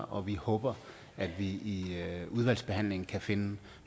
og vi håber at vi i udvalgsbehandlingen kan finde